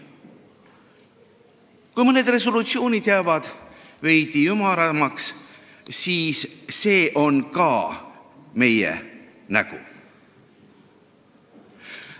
Kui mõned resolutsioonid jäävad veidi ümaramaks, siis on see ka meie nägu.